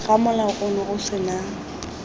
ga molao ono o sena